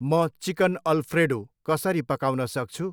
म chicken Alfredo कसरी पकाउन सक्छु?